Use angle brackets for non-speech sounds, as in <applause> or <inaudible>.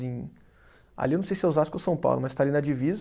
<unintelligible> Ali eu não sei se é Osasco ou São Paulo, mas está ali na divisa.